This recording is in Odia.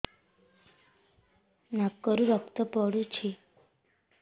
ନାକରୁ ରକ୍ତ ପଡୁଛି